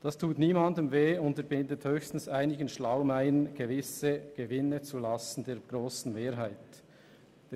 Das tut niemandem weh und unterbindet höchstens einigen Schlaumeiern, gewisse Gewinne zulasten der grossen Mehrheit zu machen.